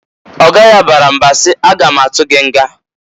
Oga ya bara mba si, "A ga ma atụ gị nga!"